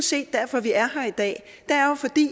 set derfor vi er her i dag